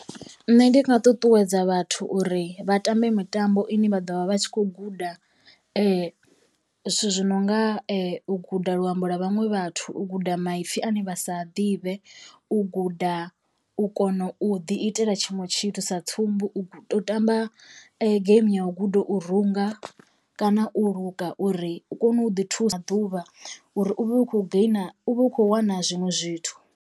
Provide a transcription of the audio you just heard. Nṋe ndi nga ṱuṱuwedza vhathu uri vha tambe mitambo ine vha ḓovha vha tshi kho guda zwithu zwi no nga u guda luambo lwa vhaṅwe vhathu, u guda maipfi ane vha sa a ḓivhe, u guda u u kono u ḓi itela tshiṅwe tshithu sa tsumbo u tea u tamba game ya u guda u runga kana u luka uri u kone u ḓi thusa ḓuvha uri u vhe u khou gainer u vhe u kho wana zwinwe zwithu.